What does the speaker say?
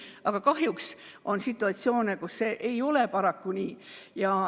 Samas on kahjuks situatsioone, kus see ei ole nii.